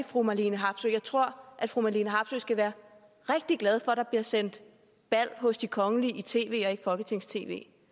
fru marlene harpsøe jeg tror fru marlene harpsøe skal være rigtig glad for at der bliver sendt bal hos de kongelige i tv og ikke tv